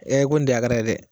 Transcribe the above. Ɛ ko nin tɛ hakara ye dɛ.